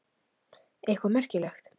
Eitthvað merkilegt?